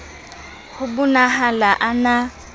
ho bo nahala a na